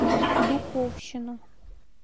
духовщину